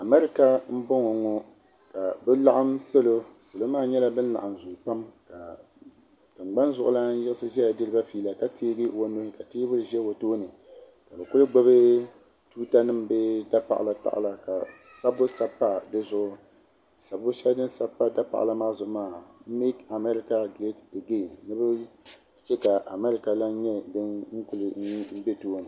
Amɛrika n bɔŋo ŋɔ ka bi laɣim salo salo maa nyɛla bin laɣim zooyi pam ka tingbani zuɣulana yiɣisi ʒɛya diri ba fiila ka teegi o nuhi ka teebuli ʒɛ o tooni ka bi kuli gbubi tuuta nim bee dapaɣala paɣala ka sabbu sabi pa di zuɣu sabbu shɛli din sabi pa dapaɣala maa zuɣu maa make America great again ni bi che ka America lan nyɛ din kuli bɛ tooni.